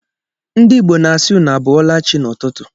Ndi Igbo na-asị 'unu abọalachi' n'ụtụtụ